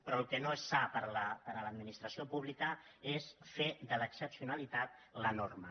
però el que no és sa per a l’administració pública és fer de l’excepcionalitat la norma